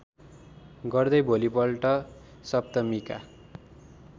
गर्दै भोलिपल्ट सप्तमीका